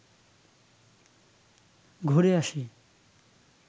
ঘুরে আসি